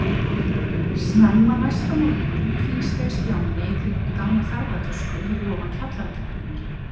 Snemma næsta morgun tvísteig Stjáni í kringum gamla ferðatösku fyrir ofan kjallaratröppurnar.